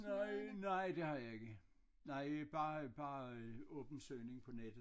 Nej nej det har jeg ikke nej bare bare åben søgning på nettet